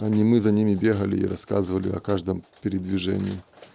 а не мы за ними бегали и рассказывали о каждом передвижении